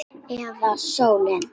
Eða sólin?